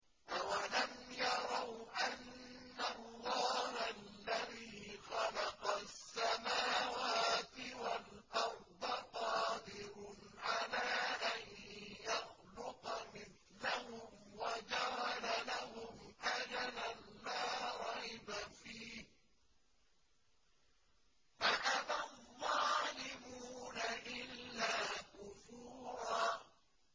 ۞ أَوَلَمْ يَرَوْا أَنَّ اللَّهَ الَّذِي خَلَقَ السَّمَاوَاتِ وَالْأَرْضَ قَادِرٌ عَلَىٰ أَن يَخْلُقَ مِثْلَهُمْ وَجَعَلَ لَهُمْ أَجَلًا لَّا رَيْبَ فِيهِ فَأَبَى الظَّالِمُونَ إِلَّا كُفُورًا